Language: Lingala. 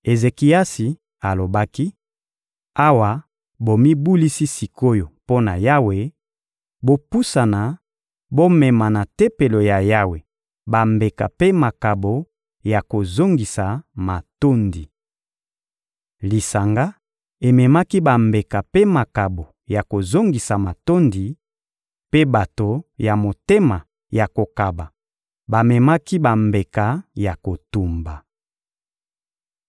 Ezekiasi alobaki: — Awa bomibulisi sik’oyo mpo na Yawe, bopusana, bomema na Tempelo ya Yawe bambeka mpe makabo ya kozongisa matondi. Lisanga ememaki bambeka mpe makabo ya kozongisa matondi, mpe bato ya motema ya kokaba bamemaki bambeka ya kotumba.